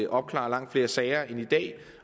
opklare langt flere sager end i dag